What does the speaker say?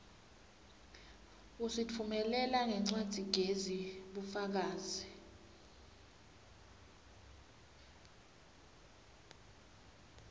usitfumelela ngencwadzigezi bufakazi